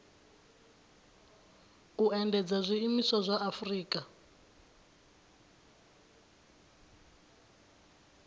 u endedza zwiimiswa zwa afurika